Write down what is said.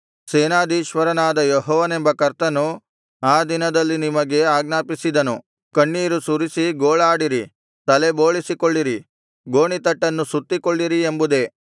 ಸೇನಾಧೀಶ್ವರನಾದ ಯೆಹೋವನೆಂಬ ಕರ್ತನು ಆ ದಿನದಲ್ಲಿ ನಿಮಗೆ ಆಜ್ಞಾಪಿಸಿದನು ಕಣ್ಣೀರು ಸುರಿಸಿ ಗೋಳಾಡಿರಿ ತಲೆಬೋಳಿಸಿಕೊಳ್ಳಿರಿ ಗೋಣಿತಟ್ಟನ್ನು ಸುತ್ತಿಕೊಳ್ಳಿರಿ ಎಂಬುದೇ